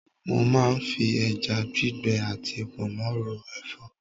Mo máa ń fi ẹja gbígbẹ àti pọnmó ro Ẹ̀fọ́.